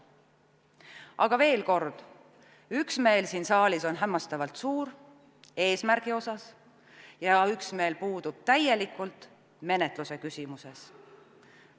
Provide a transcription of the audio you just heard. Aga veel kord, üksmeel siin saalis on hämmastavalt suur eesmärgi puhul ja üksmeel puudub täielikult menetluse küsimuses.